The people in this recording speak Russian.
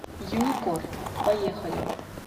юникор поехали